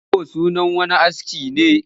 Ƙwal-kwabo sunan wani aski ne